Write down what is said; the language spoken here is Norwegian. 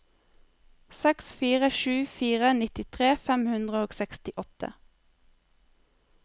seks fire sju fire nittitre fem hundre og sekstiåtte